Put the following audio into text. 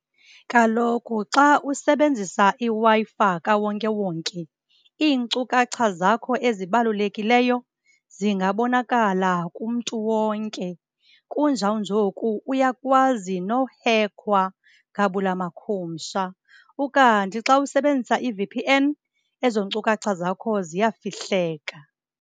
Kaloku xa usebenzisa iWi-Fi kawonkewonke iinkcukacha zakho ezibalulekileyo zingabonakala kumntu wonke. Kunjawunjoku uyakwazi nokuhekhwa gabula makhumsha, ukanti xa usebenzisa i-V_P_N ezo nkcukacha zakho ziyafihleka.